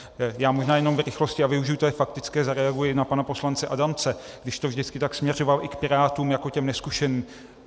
Já možná jenom v rychlosti, a využiji té faktické, zareaguji na pana poslance Adamce, když to vždycky tak směřoval i k Pirátům jako těm nezkušeným.